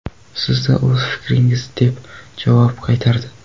Sizda o‘z fikringiz”, deb javob qaytardi.